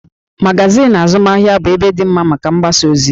Magazin azụmahịa bụ ebe dị mma maka mgbasaozi